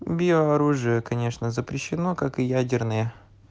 биооружие конечно запрещено как и ядерные